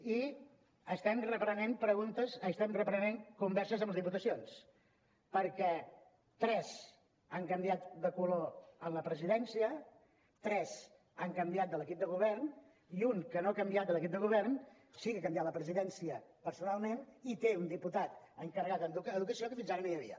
i estem reprenent converses amb les diputacions perquè tres han canviat de color en la presidència tres han canviat de l’equip de govern i un que no ha canviat l’equip de govern sí que ha canviat la presidència personalment i té un diputat encarregat en educació que fins ara no hi havia